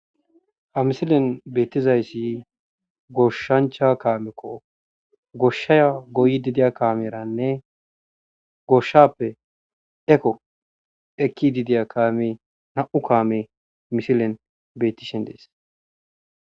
Ha misilen beetizayssa goshsha kaameko ha kaameykka go7ees.